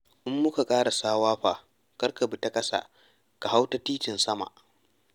In muka ƙarasa Wafa kar ka bi ta ƙasa, ka hau ta titin-sama.